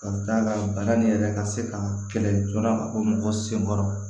Ka d'a kan bana nin yɛrɛ ka se ka kɛlɛ joona ko mɔgɔ senkɔrɔ